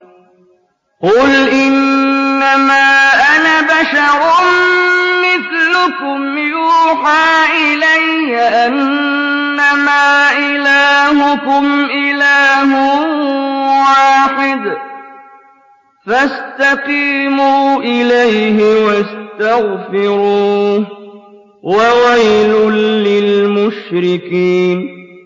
قُلْ إِنَّمَا أَنَا بَشَرٌ مِّثْلُكُمْ يُوحَىٰ إِلَيَّ أَنَّمَا إِلَٰهُكُمْ إِلَٰهٌ وَاحِدٌ فَاسْتَقِيمُوا إِلَيْهِ وَاسْتَغْفِرُوهُ ۗ وَوَيْلٌ لِّلْمُشْرِكِينَ